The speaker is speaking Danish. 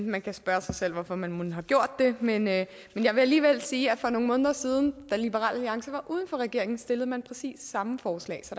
man kan spørge sig selv hvorfor man mon har gjort det men jeg vil alligevel sige at for nogle måneder siden da liberal alliance var uden for regeringen stillede man præcis samme forslag så